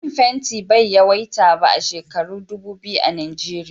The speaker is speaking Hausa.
Man fenti bai yawaita ba a shekaru dubu biyu a Nijeriya.